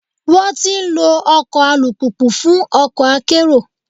Wọ́n ti ń lọ ọkọ̀ alùpùpù fún ọkọ̀ akérò.